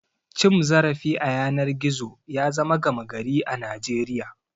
Cim zarafi a yanar gizo ya zama gama gari a Najeriya.